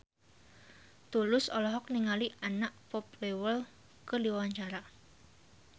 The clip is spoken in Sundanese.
Tulus olohok ningali Anna Popplewell keur diwawancara